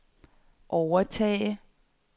overtage